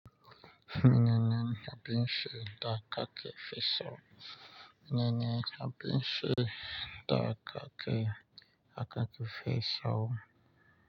Menene abin sheda kaki fi sawo? Menene abin sheda kaki aka fi sawo?